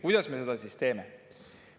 Kuidas me seda siis teeme?